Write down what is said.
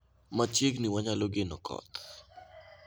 Machiegni wanyalo geno koth